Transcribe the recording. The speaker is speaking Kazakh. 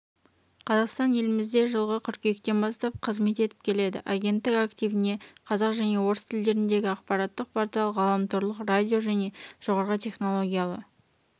қазақстан елімізде жылғы қыркүйектен бастап қызмет етіп келеді агенттік активіне қазақ және орыс тілдеріндегі ақпараттық портал ғаламторлық радио және жоғары технологиялы